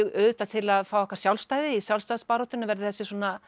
auðvitað til að fá okkar sjálfstæði í sjálfstæðisbaráttunni verður þessi